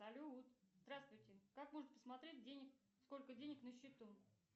салют здравствуйте как можно посмотреть сколько денег на счету